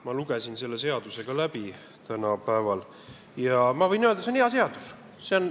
Ma lugesin selle seaduseelnõu täna päeval läbi ja võin öelda: see on hea seadus.